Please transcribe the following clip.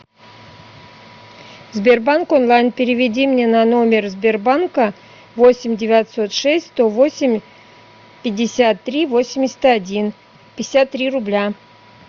сбербанк онлайн переведи мне на номер сбербанка восемь девятьсот шесть сто восемь пятьдесят три восемьдесят один пятьдесят три рубля